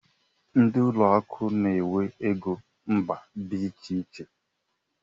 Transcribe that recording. Ndị ụlọ akụ n'enwe égo mba dị iche iche.